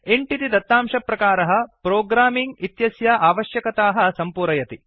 int इति दत्तांशप्रकारः programming इत्यस्य आवश्यकताः सम्पूरयति